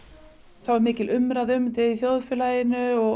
það var mikil umræða um þetta í þjóðfélaginu og